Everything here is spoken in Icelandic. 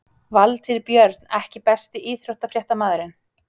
Valtýr Björn EKKI besti íþróttafréttamaðurinn?